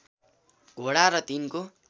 घोडा र तिनको